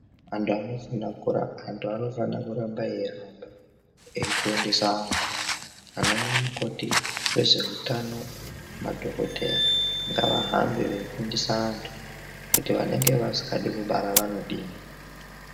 Antu anofana kuramba eifundisa anhu ana nyamukhoti, vezveutano nemadhokodhaya ngavahambe veifundisa anhu kuti vanenge vasingadi kubara vanodii.